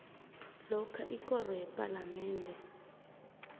lokha ikoro yepalamende